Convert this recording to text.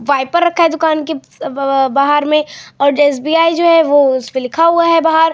Wiper रखा है दुकान के ब ब बाहर में और एस.बी.आई. जो है वो उसपे लिखा हुआ है बाहर।